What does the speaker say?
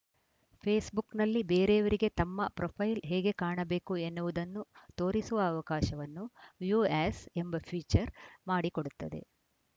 ಫೇಸ್‌ಬುಕ್‌ನಲ್ಲಿ ಬೇರೆಯವರಿಗೆ ತಮ್ಮ ಪ್ರೊಫೈಲ್ ಹೇಗೆ ಕಾಣಬೇಕು ಎನ್ನುವುದನ್ನು ತೋರಿಸುವ ಅವಕಾಶವನ್ನು ವ್ಯೂ ಆ್ಯಸ್‌ ಎಂಬ ಫೀಚರ್‌ ಮಾಡಿಕೊಡುತ್ತದೆ